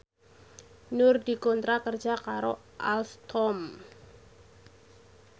Nur dikontrak kerja karo Alstom